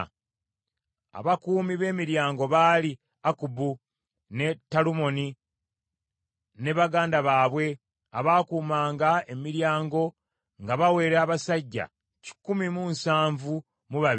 Abakuumi b’emiryango baali: Akkubu, ne Talumoni ne baganda baabwe; abaakuumanga emiryango nga bawera abasajja kikumi mu nsanvu mu babiri (172).